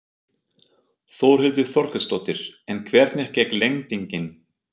Þórhildur Þorkelsdóttir: En hvernig gekk lendingin?